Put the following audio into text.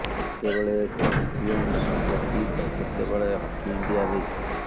କେତେବେଳେ champions trophy ତ କେତେବେଳେ ହକି ଇଣ୍ଡିଆ ଲିଗ୍